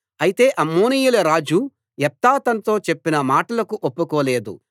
అయితే అమ్మోనీయుల రాజు యెఫ్తా తనతో చెప్పిన మాటలకు ఒప్పుకోలేదు